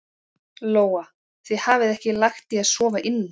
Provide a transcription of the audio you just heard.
Lóa: Þið hafið ekki lagt í að sofa inni?